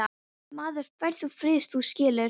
Maður fær þá frið, þú skilur.